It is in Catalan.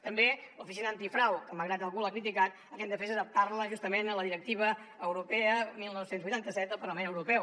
també l’oficina antifrau que malgrat que algú l’ha criticat el que hem de fer és adaptar la justament a la directiva europea dinou vuitanta set del parlament europeu